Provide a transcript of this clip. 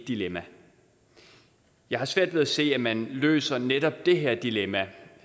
dilemma jeg har svært ved at se at man løser netop det her dilemma